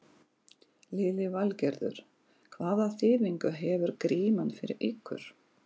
Lillý Valgerður: Hvaða þýðingu hefur Gríman fyrir ykkur?